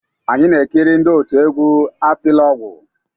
Anyị na-ekiri ndị òtù egwú Atiliọgwụ.